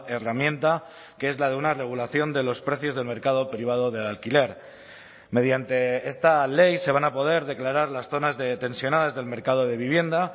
herramienta que es la de una regulación de los precios del mercado privado del alquiler mediante esta ley se van a poder declarar las zonas de tensionadas del mercado de vivienda